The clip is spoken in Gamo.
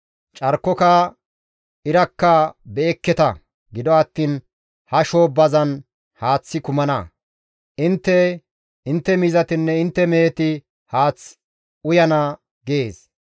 Carkoka, irakka be7ekketa; gido attiin ha shoobbazan haaththi kumana; intte, intte miizatinne intte meheti haath uyana› gees.